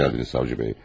Xoş gəldiniz, savcı bəy.